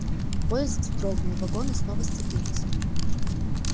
поезд вздрогнул вагоны снова сцепились